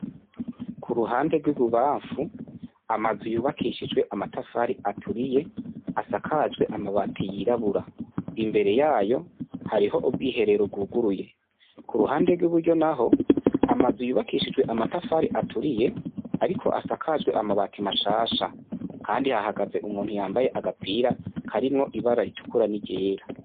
Kuruhande rw'ibubanfu amazu yubakishijwe amatafari aturiye asakajwe amabati yirabura imbere yayo hariho ubwiherero bwuguruye, kuruhande rw'iburyo naho amazu yubakishijwe amatafari aturiye ariko asakajwe amabati mashasha, kand hahagaze umuntu yambaye agapira karimwo ibara ritukura n'iryera.